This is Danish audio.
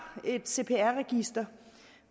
et cpr register